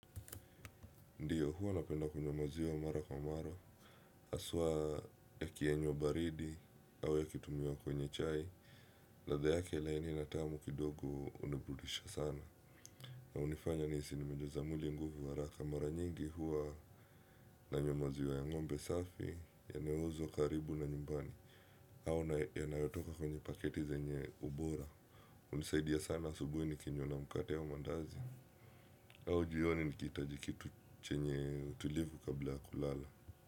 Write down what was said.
Ndiyo, hua napenda kunywa maziwa mara kwa mara, aswa ya kienyo baridi, au ya kitumiwa kwenye chai, ladha yake laini na tamu kidogo unibudisha sana. Na unifanya niisi nimejaza mwili nguvu araka mara nyingi hua nanywa maziwa ya ngombe safi, yaneuzwo karibu na nyumbani, au yanayotoka kwenye paketi zenye ubora. Unisaidia sana asubui nikinywa na mkate au mandazi, au jioni nikiitaji kitu chenye utilivu kabla ya kulala.